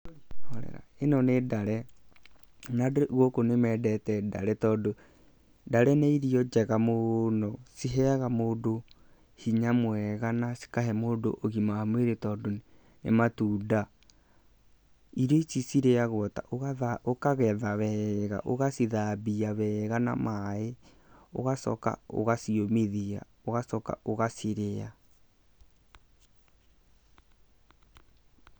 Ĩno nĩ ndar,e na andũ gũkũ nĩ mendete ndare tondũ ndare nĩ irio njega mũno. Ciheaga mũndũ hinya mwega na cikahe mũndũ ũgima wa mwĩrĩ tondũ nĩ matunda. Irio ici cirĩyagwo ta, ũkagetha wega ũgacithambia wega na maaĩ, ũgacoka ũgaciũmithia ũgacoka ũgacirĩa.